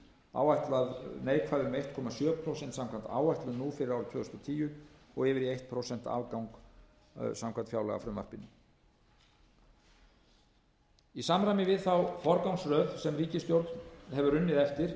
áætlað neikvæð um einn komma sjö prósent samkvæmt áætlun nú fyrir árið tvö þúsund og tíu og yfir í einu prósenti afgang samkvæmt fjárlagafrumvarpinu í samræmi við þá forgangsröð sem ríkisstjórn hefur unnið eftir er